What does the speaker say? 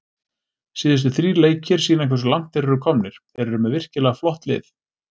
Síðustu þrír leikir sýna hversu langt þeir eru komnir, þeir eru með virkilega flott lið.